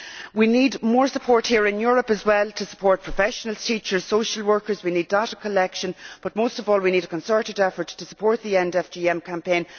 We need more support here in Europe as well, to support professionals, teachers and social workers. We need data collection, but most of all we need a concerted effort to support the END FGM campaign.